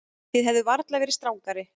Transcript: Þið hefðuð varla verið strangari.